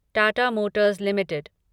Tata motors limited